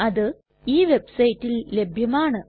അത് ഈ വെബ്സൈറ്റിൽ ലഭ്യമാണ്